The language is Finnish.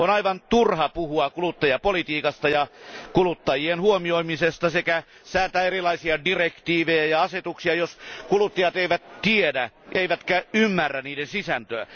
On aivan turha puhua kuluttajapolitiikasta ja kuluttajien huomioimisesta sekä säätää erilaisia direktiivejä ja asetuksia, jos kuluttajat eivät tiedä eivätkä ymmärrä niiden sisältöä!